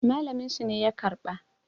malaminsu ne ya karba